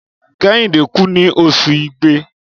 Kẹ́hìndé kùn ní Oṣù igbe.